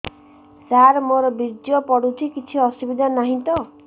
ସାର ମୋର ବୀର୍ଯ୍ୟ ପଡୁଛି କିଛି ଅସୁବିଧା ନାହିଁ ତ